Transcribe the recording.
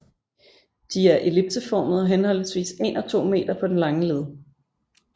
De er ellipseformede og henholdsvis en og to meter på den lange led